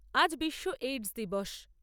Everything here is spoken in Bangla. আজ বিশ্ব এইডস দিবস।